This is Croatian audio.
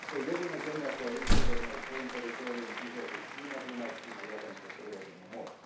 To je jedina zemlja koja istodobno svojim teritorijom izlazi i na Dunav i na Jadransko i na Sredozemno more.